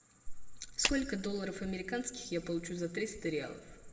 сколько долларов американских я получу за триста реалов